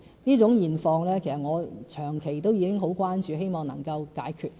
這種現況其實我是長期很關注，希望能夠解決。